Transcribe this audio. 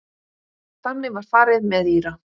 Þannig var farið með Íra.